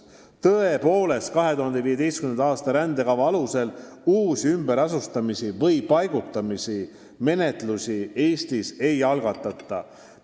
Tõepoolest, 2015. aasta rändekava alusel uusi ümberasustamise või -paigutamise menetlusi Eestis ei algatata.